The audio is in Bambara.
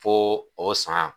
Foo o san